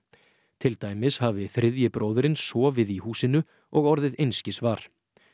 til dæmis hafi þriðji bróðirinn sofið í húsinu og orðið einskis var